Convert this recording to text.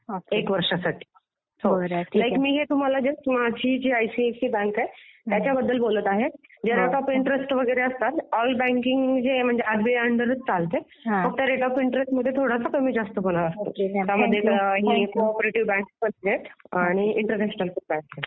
एक वर्षासाठी मी हे तुम्हाला जस्ट आमची जी आयसीआयसीआय बँक आहे त्याबद्दल बोलत आहे. जे रेट ऑफ इंट्रेस्ट वगैरे असतात, ऑल बँकिंग आरबीआय अंडरच चालते. फक्त रेट ऑफ इंट्रेस्टमध्ये जरा कमी जास्त पण असतो.